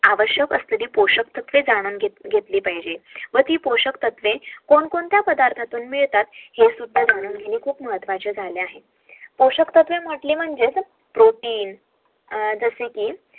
आवश्यक असलील पोषक जाणून घेतले पाहिजे